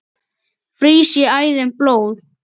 frýs í æðum blóð